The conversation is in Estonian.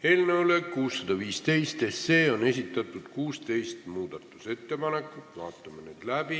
Eelnõu 615 kohta on esitatud 16 muudatusettepanekut, vaatame need läbi.